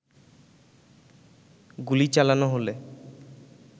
গুলি চালানো হলে